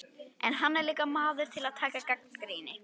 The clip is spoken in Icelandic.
En hann er líka maður til að taka gagnrýni.